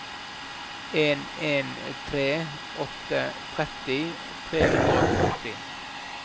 en en tre åtte tretti tre hundre og førti